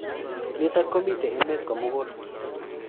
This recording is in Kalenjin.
Nitok komitei emet komugul.